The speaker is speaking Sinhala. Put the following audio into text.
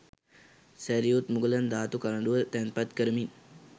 සැරියුත්මුගලන් ධාතු කරඬුව තැන්පත් කරමින්